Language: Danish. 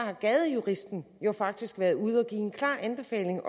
har gadejuristen jo faktisk også været ude at give en klar anbefaling